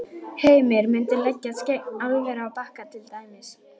Heimir: Muntu leggjast gegn álveri á Bakka til dæmis?